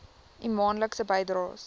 u maandelikse bydraes